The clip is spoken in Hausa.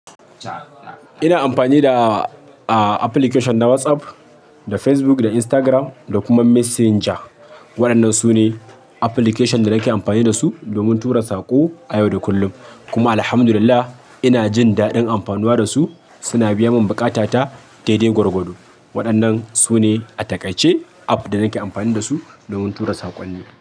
Ina amfani da application na WhatsApp, da Facebook, da Instagram da kuma Messenger. Waɗannan sune application da nake amfani dasu domin tura sako a yau da kullum. Kuma alhamdulillah inajin daɗin amfanuwa dasu. Suna biyamin buƙata ta daidai gwargwado. Waɗannan sune a takaice app da nake amfani dasu domin tura saƙonni.